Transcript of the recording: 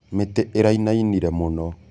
Mĩtĩ ĩraĩnaĩnĩre mũno.